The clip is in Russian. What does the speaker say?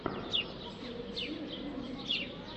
последняя серия бизнесвкедах